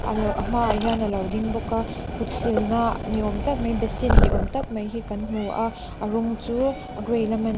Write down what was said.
a hma ah hian alo ding bawk a kut sil na ni awm tak mai basin ni awm tak mai hi kan hmu a a rawng chu a gray lam a n --